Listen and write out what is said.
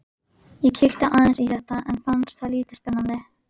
Ég kíkti aðeins í þetta en fannst það lítið spennandi.